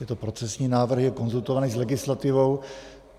Je to procesní návrh, je konzultovaný s legislativou.